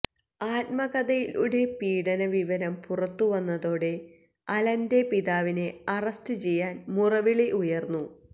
ആത്മകഥയിലൂടെ പീഡന വിവരം പുറത്തുവന്നതോടെ അലന്റെ പിതാവിനെ അറസ്റ്റ് ചെയ്യാന് മുറവിളി ഉയര്ന്നു